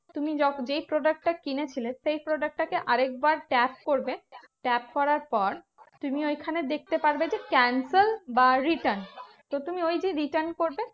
তুমি যেই product টা কিনেছিলে, সেই product টা কে আরেকবার tab করবে। tap করার পর তুমি ঐখানে দেখতে পারবে যে, cancel বা return. তো তুমি ওই যে return করবে